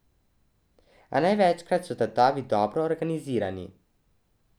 A največkrat so tatovi dobro organizirani.